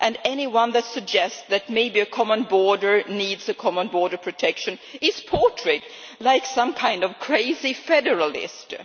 Anyone who suggests that maybe a common border needs common border protection is portrayed as some kind of crazy federalist.